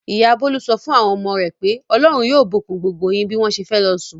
Ìyá Bólú sọ fún àwọn ọmọ rẹ̀ pé "Ọlọ́run yóò bùkún gbogbo yín" bí wọ́n ṣe fẹ́ lọ sùn.